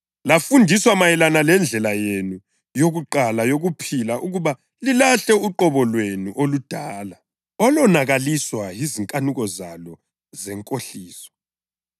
Lafundiswa mayelana lendlela yenu yakuqala yokuphila ukuba lilahle uqobo lwenu oludala, olonakaliswa yizinkanuko zalo zenkohliso;